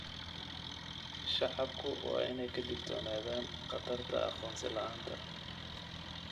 Shacabku waa in ay ka digtoonaadaan khatarta aqoonsi la'aanta.